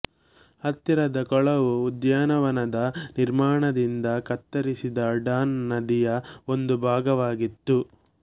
ಹತ್ತಿರದ ಕೊಳವು ಉದ್ಯಾನವನದ ನಿರ್ಮಾಣದಿಂದ ಕತ್ತರಿಸಿದ ಡಾನ್ ನದಿಯ ಒಂದು ಭಾಗವಾಗಿತ್ತು